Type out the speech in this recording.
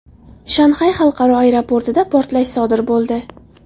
Shanxay xalqaro aeroportida portlash sodir bo‘ldi .